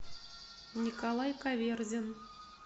николай каверзин